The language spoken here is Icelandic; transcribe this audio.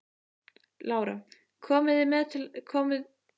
Lára: Komið þið til með að hætta eftir þetta?